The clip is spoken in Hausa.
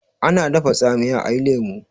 ana dafa tsamiya a yi lemo